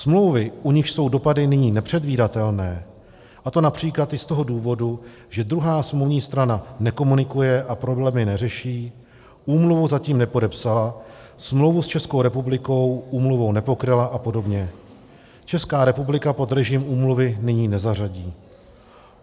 Smlouvy, u nichž jsou dopady nyní nepředvídatelné, a to například i z toho důvodu, že druhá smluvní strana nekomunikuje a problémy neřeší, úmluvu zatím nepodepsala, smlouvu s Českou republikou úmluvou nepokryla a podobně, Česká republika pod režim úmluvy nyní nezařadí.